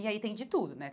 E aí tem de tudo, né?